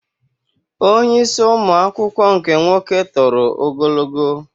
Onye isi ụmụ akwụkwọ nke nwoke toro ogologo